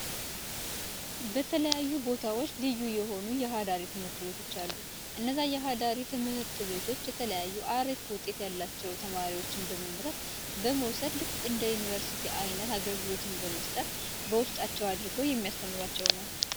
በተለያዩ ቦታዎች ልዩ የሆኑ የአዳሪ ትምህርት ቤቶች አሉ። እነዛ የአዳሪ ትምህርት ቤቶች የተለያዩ ሀሪፍ ውጤት ያላቸውን ተማሪዎች በመምረጥ ፣በመውሰድ ልክ እንደ ዩኒቨርሲቲ አይነት አገልግሎትን በመስጠት በውስጣቸው አድርገው የሚያስተምሩአቸው ነው።